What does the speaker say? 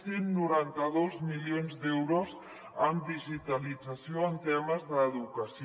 cent i noranta dos milions d’euros en di·gitalització en temes d’educació